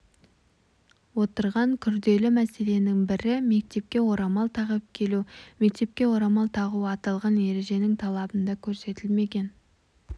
отырған күрделі мәселенің бірі мектепке орамал тағып келу мектепке орамал тағу аталған ереженің талабында көрсетілмеген